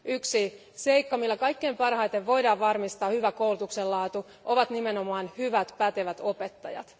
Yksi seikka, millä kaiken parhaiten voidaan varmistaa koulutuksen hyvä laatu, ovat nimenomaan hyvät, pätevät opettajat.